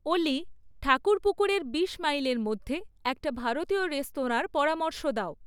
অলি ঠাকুরপুকুরের বিশ মাইলের মধ্যে একটা ভারতীয় রেস্তরাঁর পরামর্শ দাও